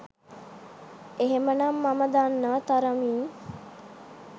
එහෙමනම් මම දන්නා තරමින්